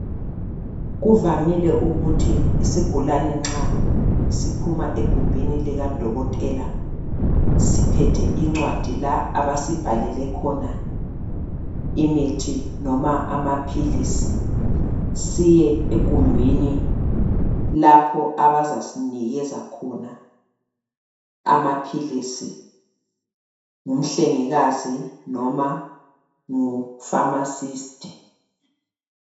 Kuvamile ukuthi isigulane nxa siphuma egumbini likadokotela siphethe incwadi la abasibhalele khona imithi noma amaphilisi, siye egumbini lapho abazasinikeza khona amaphilisi ngumhlengikazi, noma ngu pharmacist.